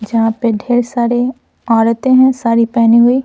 जहां पे ढेर सारे औरतें हैं साड़ी पहनी हुई--